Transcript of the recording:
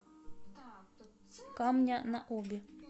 камня на оби